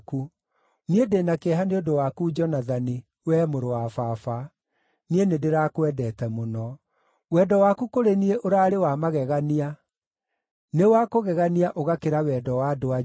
Niĩ ndĩ na kĩeha nĩ ũndũ waku Jonathani, wee mũrũ wa baba; niĩ nĩndĩrakwendete mũno. Wendo waku kũrĩ niĩ ũraarĩ wa magegania, Nĩ wa kũgegania ũgakĩra wendo wa andũ-a-nja.